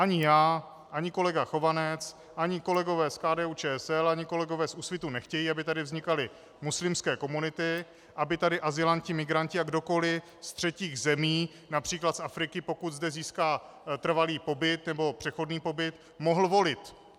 Ani já, ani kolega Chovanec, ani kolegové z KDU-ČSL, ani kolegové z Úsvitu nechtějí, aby tady vznikaly muslimské komunity, aby tady azylanti, migranti a kdokoliv z třetích zemí, například z Afriky, pokud zde získá trvalý pobyt nebo přechodný pobyt, mohl volit.